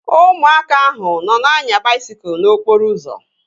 Ụmụaka ahụ nọ na-anya baisikụl n'okporo ụzọ